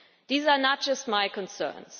Those are not just my concerns.